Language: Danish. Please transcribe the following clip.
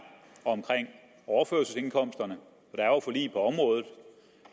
omkring overførselsindkomsterne for